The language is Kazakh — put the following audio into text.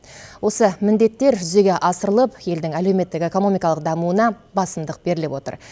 осы міндеттер жүзеге асырылып елдің әлеуметтік экономикалық дамуына басымдық беріліп отыр